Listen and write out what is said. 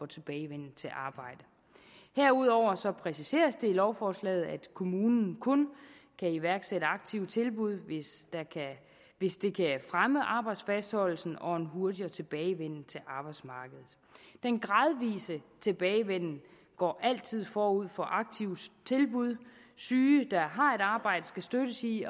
tilbagevenden til arbejdet herudover præciseres det i lovforslaget at kommunen kun kan iværksætte aktive tilbud hvis det kan fremme arbejdsfastholdelsen og en hurtigere tilbagevenden til arbejdsmarkedet den gradvise tilbagevenden går altid forud for aktive tilbud syge der har et arbejde skal støttes i